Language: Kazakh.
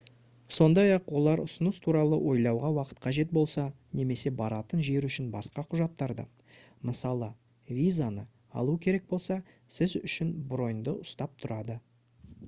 сондай-ақ олар ұсыныс туралы ойлауға уақыт қажет болса немесе баратын жер үшін басқа құжаттарды мысалы визаны алу керек болса сіз үшін броньді ұстап тұрады